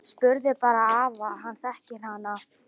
Spurðu bara afa, hann þekkir hana!